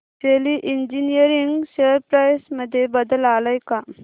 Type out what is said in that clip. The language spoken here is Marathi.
शेली इंजीनियरिंग शेअर प्राइस मध्ये बदल आलाय का